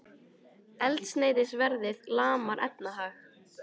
Eldsneytisverðið lamar efnahag